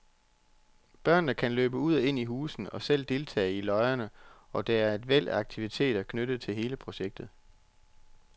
Børnene kan løbe ud og ind i husene og selv deltage i løjerne, og der er et væld af aktiviteter knyttet til hele projektet.